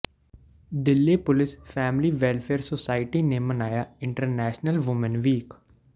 Delhi police family welfare society ਨੇ ਮਨਾਇਆ international woman week